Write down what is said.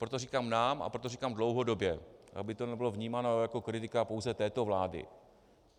Proto říkám nám a proto říkám dlouhodobě, aby to nebylo vnímáno jako kritika pouze této vlády.